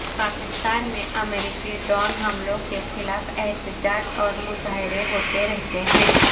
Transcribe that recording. پاکستان میں امریکی ڈرون حملوں کے خلاف احتجاج اور مظاہرے ہوتے رہتے ہیں